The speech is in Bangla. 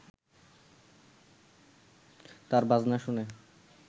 তার বাজনা শুনে